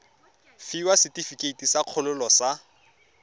fiwa setefikeiti sa kgololo sa